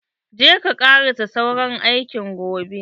Je ka karasa sauran aikin gobe.